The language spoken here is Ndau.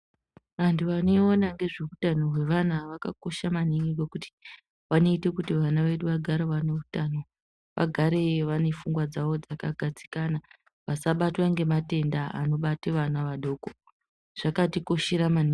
Vantu vanoona ngezveutano hwevana vakakosha maningi ngokuti ,vanoite kuti vana vedu vagare vane hutano, vagare vane fungwa dzavodzakagadzikana, vasabatwe nematenda anobate vana vadoko. Zvakatikoshera maningi.